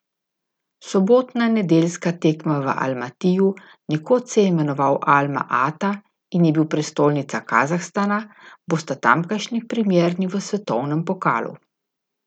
Sobotna in nedeljska tekma v Almatiju, nekoč se je imenoval Alma Ata in je bil prestolnica Kazahstana, bosta tamkajšnji premierni v svetovnem pokalu.